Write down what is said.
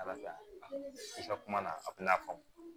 Ala i ka kuma na a tɛna faamu